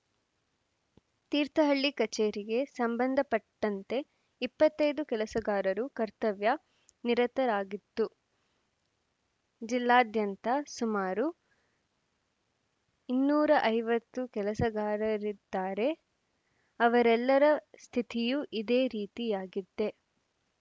ತೀರ್ಥಹಳ್ಳಿ ಕಚೇರಿಗೆ ಸಂಬಂಧಪಟ್ಟಂತೆ ಇಪ್ಪತ್ತ್ ಐದು ಕೆಲಸಗಾರರು ಕರ್ತವ್ಯ ನಿರತರಾಗಿದ್ದು ಜಿಲ್ಲಾದ್ಯಂತ ಸುಮಾರು ಇನ್ನೂರ ಐವತ್ತು ಕೆಲಸಗಾರರಿದ್ದಾರೆ ಅವರೆಲ್ಲರ ಸ್ಥಿತಿಯೂ ಇದೇ ರೀತಿಯಾಗಿದೆ